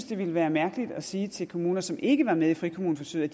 det ville være mærkeligt at sige til kommuner som ikke er med i frikommuneforsøget